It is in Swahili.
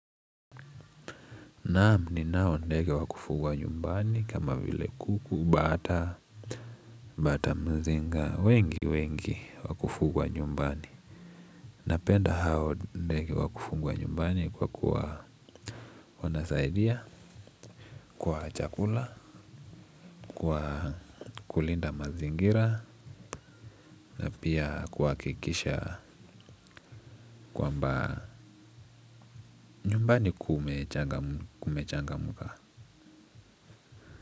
Naam ni nao ndege wakufugwa nyumbani kama vile kuku, bata, bata mzinga, wengi wengi wakufugwa nyumbani. Napenda hao ndege wakufugwa nyumbani kwa kuwa wanasaidia, kwa chakula, kwa kulinda mazingira, na pia kuhakikisha kwamba nyumbani kumechangamka.